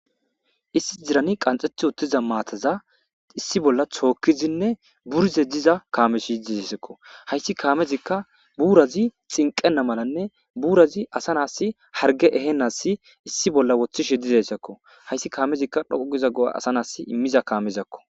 Issi dirani qanxeth uttiza maataza issi bolla tookkizinne burize diza kaames yidisakko hayssi kaamezikka buurazi xinqena malanne buurazi asanas harge eheasi issi bolla woththishe dizayssakko hayssi kaamezikka dhoqugiza go'a asa nas immiza kaamezakko.